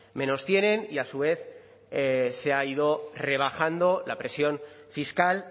menos tienen y a su vez se ha ido rebajando la presión fiscal